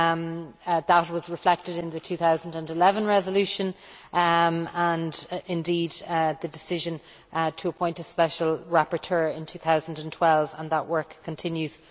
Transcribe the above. that was reflected in the 2011 resolution and indeed in the decision to appoint a special rapporteur in 2012, and that work continues.